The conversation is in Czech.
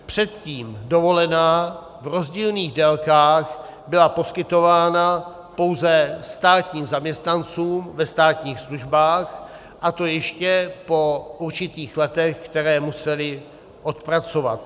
Předtím dovolená v rozdílných délkách byla poskytována pouze státním zaměstnancům ve státních službách, a to ještě po určitých letech, která museli odpracovat.